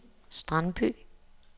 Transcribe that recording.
Strandby